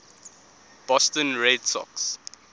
boston red sox